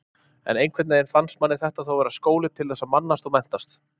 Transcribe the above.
En einhvern veginn fannst manni þetta þó vera skóli til þess að mannast og menntast.